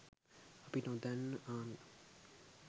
අපි නොදන්න ආමි